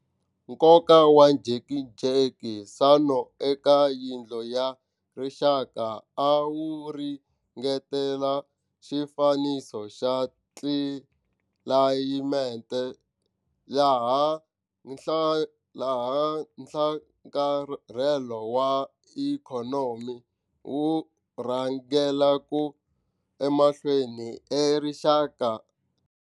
Nkoka wa njhekanjhekisano eka Yindlu ya Rixaka a wu ringanerile xifaniso xa tlilayimete laha nhlakarhelo wa ikhonomi wu rhangelaka emahlweni erixaka.